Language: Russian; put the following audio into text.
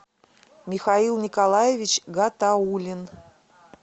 михаил николаевич гатаулин